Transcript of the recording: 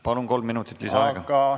Palun, kolm minutit lisaaega!